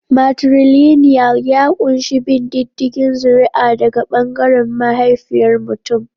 Matrilinial ya ƙunshi bin diddigin zuri'a daga ɓangaren mahaifiyar mutum.